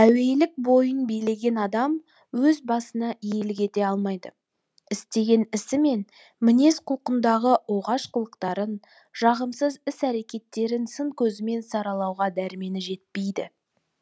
әуейілік бойын билеген адам өз басына иелік ете алмайды істеген ісі мен мінез құлқындағы оғаш қылықтарын жағымсыз іс әрекеттерін сын көзімен саралауға дәрмені жетпейді